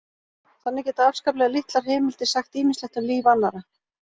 Þannig geta afskaplega litlar heimildir sagt ýmislegt um líf annarra.